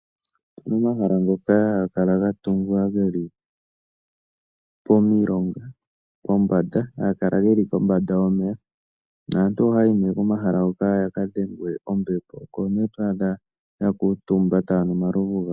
Opu na omahala ngoka haga kala ga tungwa ge li pomilonga pombanda haga kala ge li kombanda yomeya. Naantu ohaya yi nee komahala hoka ya ka dhengwe ombepo. Oko nee to adha ya kuutumba taya nu omalovu gawo.